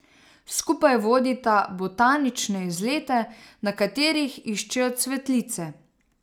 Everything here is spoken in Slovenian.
Skupaj vodita botanične izlete, na katerih iščejo cvetlice.